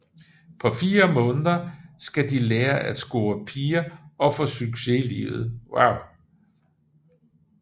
På 4 måneder skal de lære at score piger og få succes i livet